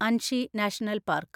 Anshi national park